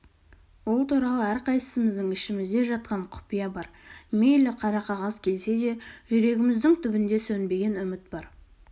ол туралы әрқайсысымыздың ішімізде жатқан құпия бар мейлі қара қағаз келсе де жүрегіміздің түбінде сөнбеген үміт бар